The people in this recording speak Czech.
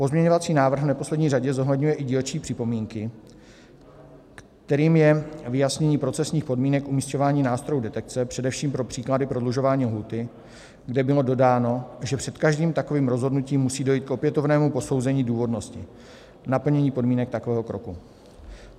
Pozměňovací návrh v neposlední řadě zohledňuje i dílčí připomínky, kterým je vyjasnění procesních podmínek umisťování nástrojů detekce, především pro příklady prodlužování lhůty, kde bylo dodáno, že před každým takovým rozhodnutím musí dojít k opětovnému posouzení důvodnosti naplnění podmínek takového kroku.